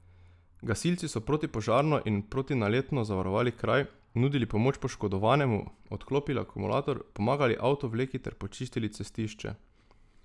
Gasilci so protipožarno in protinaletno zavarovali kraj, nudili pomoč poškodovanemu, odklopili akumulator, pomagali avtovleki ter počistili cestišče.